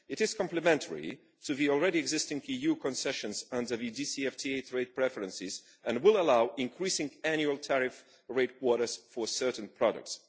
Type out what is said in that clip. It is complementary to the already existing EU concessions and the DCFTA trade preferences, and will allow increasing annual tariff rate quotas for certain products.